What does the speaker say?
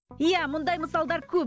иә мұндай мысалдар көп